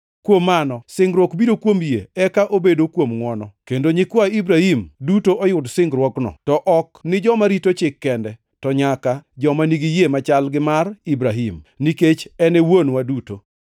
Kuom mano, singruok biro kuom yie eka obedo kuom ngʼwono, kendo nyikwa Ibrahim duto oyud singruokno, to ok ni joma rito chik kende to nyaka joma nigi yie machal gi mar Ibrahim, nikech en e wuonwa duto.